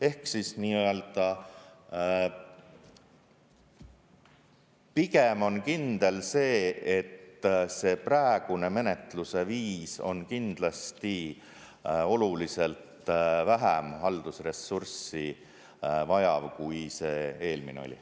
Ehk siis pigem on kindel see, et praegune menetluse viis on kindlasti oluliselt vähem haldusressurssi vajav, kui see eelmine oli.